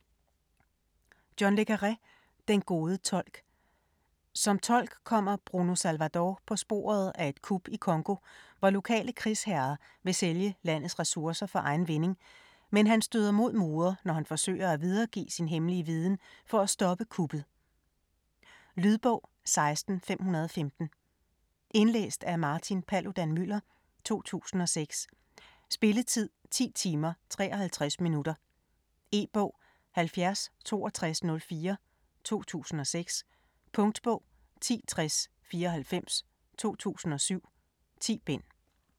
Le Carré, John: Den gode tolk Som tolk kommer Bruno Salvador på sporet af et kup i Congo, hvor lokale krigsherrer vil sælge landets ressourcer for egen vinding, men han støder mod mure, når han forsøger at videregive sin hemmelige viden for at stoppe kuppet. Lydbog 16515 Indlæst af Martin Paludan-Müller, 2006. Spilletid: 10 timer, 53 minutter. E-bog 706204 2006. Punktbog 106094 2007. 10 bind.